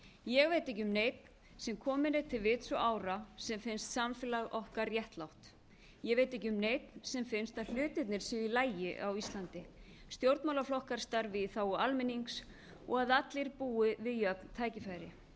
ég veit ekki um neinn sem kominn er til vits og ára sem finnst samfélag okkar réttlátt ég veit ekki um neinn sem finnst að hlutirnir séu í lagi á íslandi stjórnmálaflokkar starfi í þágu almennings og að allir búi við jöfn tækifæri